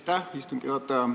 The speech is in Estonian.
Aitäh, istungi juhataja!